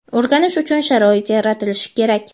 o‘rganish uchun sharoit yaratilishi kerak.